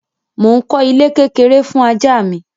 Mo ń kọ́ ilé kékeré fún ajá mi.